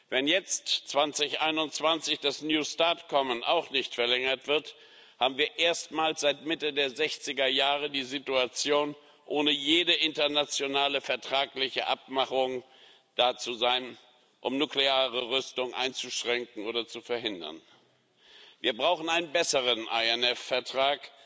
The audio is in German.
Wenn jetzt 2021 das New START Abkommen auch nicht verlängert wird, haben wir erstmals seit Mitte der 60er Jahre die Situation, ohne jede internationale vertragliche Abmachung dazustehen, um nukleare Rüstung einzuschränken oder zu verhindern. Wir brauchen einen besseren INF Vertrag,